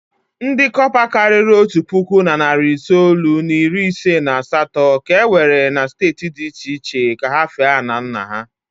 Ndị cọpa karịrị otu puku na narị itoolu na iri ise na asatọ ka e were na steeti dị iche iche ka ha fee ala nna ha.